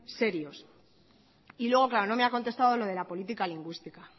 serios y luego claro no me ha contestado lo de la política lingüística